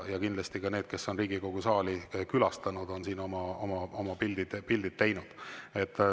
Ja kindlasti need, kes on Riigikogu saali külastanud, on siin oma pildid teinud.